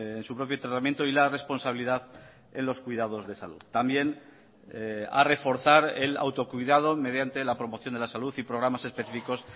en su propio tratamiento y la responsabilidad en los cuidados de salud también a reforzar el autocuidado mediante la promoción de la salud y programas específicos